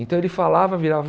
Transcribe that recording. Então ele falava, virava...